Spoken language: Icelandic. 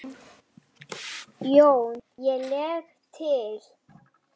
JÓN: Ég legg til.